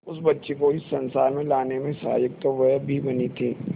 उस बच्ची को इस संसार में लाने में सहायक तो वह भी बनी थी